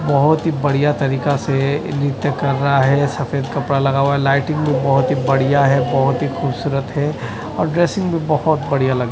बहोत ही बढ़िया तरीका से ये नृत्य कर रहा है सफेद कपड़ा लगा हुआ लाइटिंग भी बहोत ही बढ़िया है बहोत ही खूबसूरत है और ड्रेसिंग बहोत बढ़िया लग--